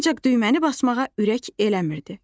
Ancaq düyməni basmağa ürək eləmirdi.